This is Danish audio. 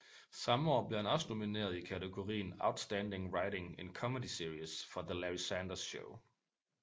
Samme år blev han også nomineret i kategorien Outstanding Writing in Comedy Series for The Larry Sanders Show